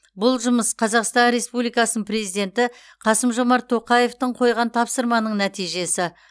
бұл жұмыс қазақстан республикасының президенті қасым жомарт тоқаевтың қойған тапсырманың нәтижесі